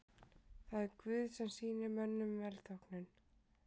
Það er Guð sem sýnir mönnum velþóknun.